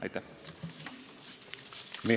Aitäh!